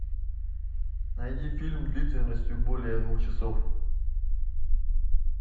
найди фильм длительностью более двух часов